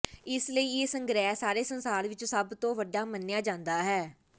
ਇਸ ਲਈ ਇਹ ਸੰਗ੍ਰਹਿ ਸਾਰੇ ਸੰਸਾਰ ਵਿਚ ਸਭ ਤੋਂ ਵੱਡਾ ਮੰਨਿਆ ਜਾਂਦਾ ਹੈ